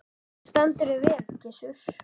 Þú stendur þig vel, Gissur!